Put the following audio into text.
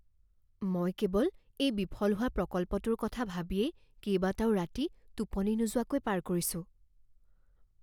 মই কেৱল এই বিফল হোৱা প্ৰকল্পটোৰ কথা ভাবিয়েই কেইবাটাও ৰাতি টোপনি নোযোৱাকৈ পাৰ কৰিছোঁ।